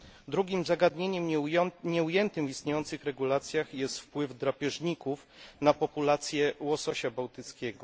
Drugim zagadnieniem nieujętym w istniejących regulacjach jest wpływ drapieżników na populację łososia bałtyckiego.